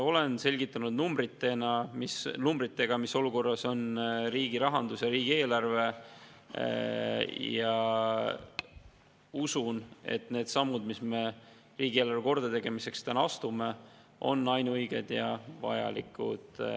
Olen selgitanud numbritega, mis olukorras on riigi rahandus ja riigieelarve, ja usun, et need sammud, mis me riigieelarve kordategemiseks täna astume, on ainuõiged ja vajalikud.